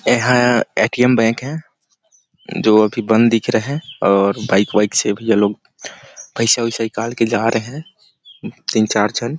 यहाँ A. T. M. Bank है जो अभी बंद दिख रहा है और बाईक -वाईक से भी अभी ये लोग पइसा -ओइसा निकाल के जा रहे है तीन -चार झन --